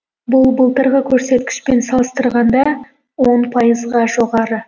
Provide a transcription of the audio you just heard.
бұл былтырғы көрсеткішпен салыстырғанда он пайызға жоғары